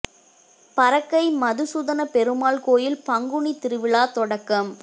பறக்கை மதுசூதன பெருமாள் கோயில் பங்குனி திருவிழா தொடக்கம்